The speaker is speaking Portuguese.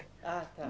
Ah, tá.